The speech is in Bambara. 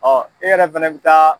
Ɔ e yɛrɛ fɛnɛ bɛ taa.